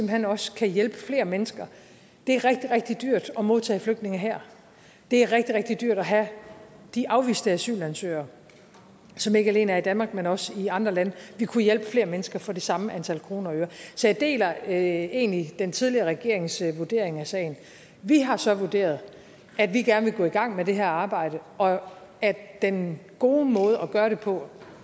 hen også kan hjælpe flere mennesker det er rigtig rigtig dyrt at modtage flygtninge her det er rigtig rigtig dyrt at have de afviste asylansøgere som ikke alene er danmark men også i andre lande vi kunne hjælpe flere mennesker for det samme antal kroner og øre så jeg deler egentlig den tidligere regerings vurdering af sagen vi har så vurderet at vi gerne vil gå i gang med det her arbejde og at den gode måde at gøre det på